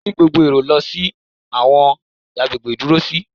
Kí gbogbo èrò lọ sí àwọn agbègbè ìdúró sí.